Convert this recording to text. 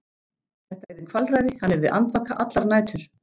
Þetta yrði kvalræði- hann yrði andvaka allar nætur!